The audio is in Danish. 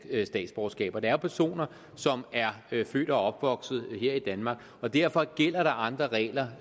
statsborgerskab det er personer som er født og opvokset her i danmark og derfor gælder der andre regler